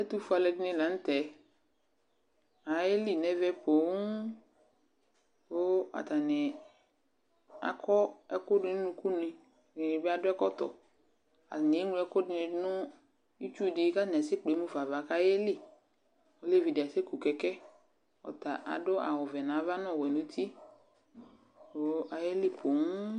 Ɛtʋfue alʋɛdɩnɩ la nʋ tɛ Ayeli nʋ ɛvɛ poo kʋ atanɩ akɔ ɛkʋ dʋ nʋ unukunɩ Ɛdɩnɩ bɩ adʋ ɛkɔtɔ Atanɩ eŋlo ɛkʋ dɩnɩ dʋ nʋ itsu dɩ kʋ atanɩ asɛkple mu fa ava kʋ ayeli Olevi dɩ asɛku kɛkɛ Ɔta adʋ awʋvɛ nʋ ava nʋ ɔwɛ nʋ uti kʋ ayeli poo